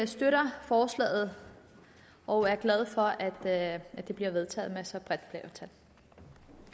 støtter forslaget og er glade for at at det bliver vedtaget med så bredt